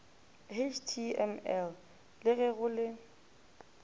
html le ge go le